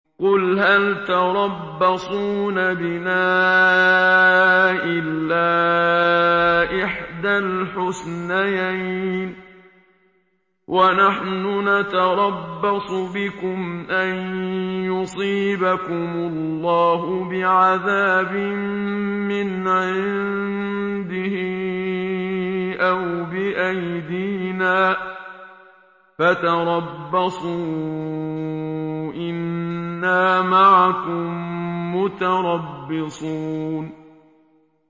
قُلْ هَلْ تَرَبَّصُونَ بِنَا إِلَّا إِحْدَى الْحُسْنَيَيْنِ ۖ وَنَحْنُ نَتَرَبَّصُ بِكُمْ أَن يُصِيبَكُمُ اللَّهُ بِعَذَابٍ مِّنْ عِندِهِ أَوْ بِأَيْدِينَا ۖ فَتَرَبَّصُوا إِنَّا مَعَكُم مُّتَرَبِّصُونَ